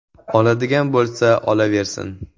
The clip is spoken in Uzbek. Oladigan bo‘lsa, olaversin.